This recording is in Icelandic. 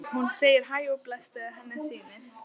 Hún segir hæ og bless og bæ þegar henni sýnist!